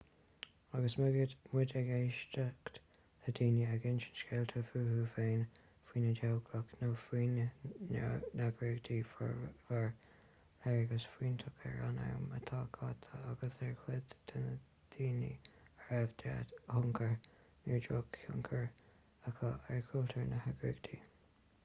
agus muid ag éisteacht le daoine ag insint scéalta fúthu féin faoina dteaghlach nó faoina n-eagraíocht fuaireamar léargas fiúntach ar an am atá caite agus ar chuid de na daoine a raibh dea-thionchar nó droch-thionchar acu ar chultúr na heagraíochta